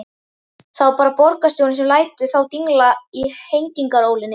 Það er bara borgarstjórnin sem lætur þá dingla í hengingarólinni.